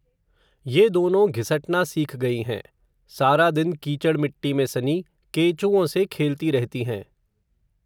ये दोनों घिसटना सीख गई हैं, सारा दिन कीचड़ मिट्टी में, सनी केंचुओं से, खेलती रहती हैं